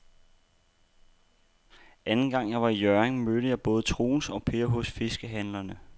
Anden gang jeg var i Hjørring, mødte jeg både Troels og Per hos fiskehandlerne.